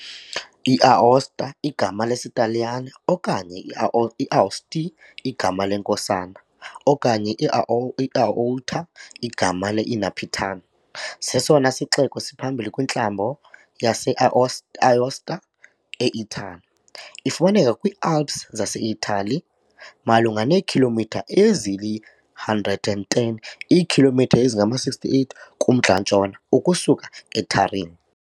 I-Aosta, igama lesiTaliyane, okanye i-Aouste, igama leNkosana, okanye i-Aouta, igama le-Inarpitan, sesona sixeko siphambili kwiNtlambo yase-Aosta e-Itali . Ifumaneka kwiiAlps zaseItali, malunga neekhilomitha ezili-110, iikhilomitha ezingama-68, kumntla-ntshona ukusuka eTurin.